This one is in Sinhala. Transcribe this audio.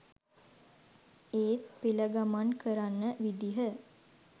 ඒත් පෙළ ගමන් කරන විදිය